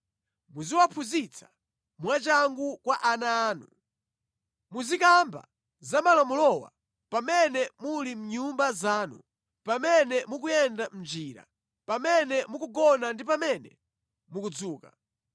Muziwaphunzitsa mwachangu kwa ana anu. Muzikamba za malamulowa pamene muli mʼnyumba zanu, pamene mukuyenda mʼnjira, pamene mukugona ndi pamene mukudzuka.